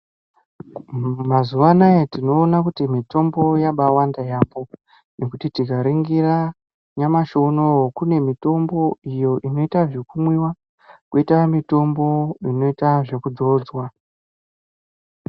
Mazuva anawa tinoona kuti mitombo yakawanda yambo nekuti tikaningira nyamashi unowu kune mutombo iyo inoita zvekumwiwa koita mutombo unoitwa zvekudzodzwa.